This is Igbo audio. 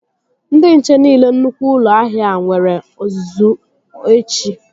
Ndị nche niile nnukwu ụlọ ahịa a nwere ọzụzụ echi